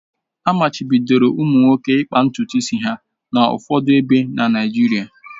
Amachibidoro ụmụ nwoke ịkpa ntutu isi ha n'ụfọdụ ebe na Naịjirịa